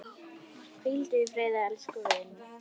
Hvíldu í friði elsku vinur.